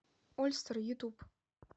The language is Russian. ольстер ютуб